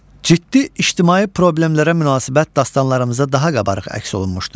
Ciddi ictimai problemlərə münasibət dastanlarımızda daha qabarıq əks olunmuşdur.